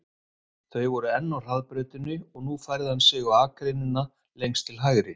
Þau voru enn á hraðbrautinni og nú færði hann sig á akreinina lengst til hægri.